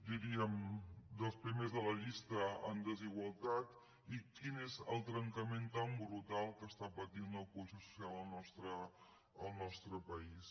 diríem dels primers de la llista en desigualtat i quin és el trencament tan brutal que està patint la cohesió social al nostre país